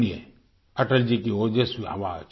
सुनिए अटल जी की ओजस्वी आवाज